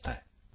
sound bite